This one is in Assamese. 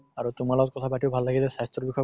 আৰু তোমাৰ লগত কথা পাতিও ভাল লাগিল স্বাস্থ্য়ৰ বিষয়ে